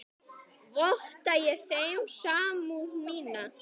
Votta ég þeim samúð mína.